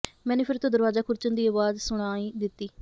ਮੈਨੂੰ ਫਿਰ ਤੋਂ ਦਰਵਾਜਾ ਖੁਰਚਣ ਦੀ ਆਵਾਜ਼ ਸੁਣਾਈ ਦਿੱਤੀ